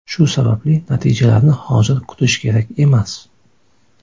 Shu sababli natijalarni hozir kutish kerak emas.